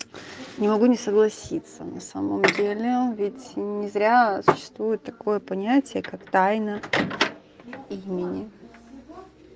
не могу не согласиться на самом деле а ведь не зря существует такое понятие как тайна имени